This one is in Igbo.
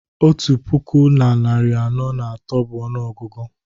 otu puku na narị anọ na atọ bụ ọnụọgụgụ